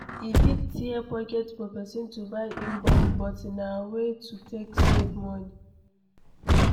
E fit tear pocket for person to buy in bulk but na way to take save money